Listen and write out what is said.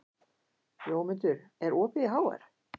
Jómundur, er opið í HR?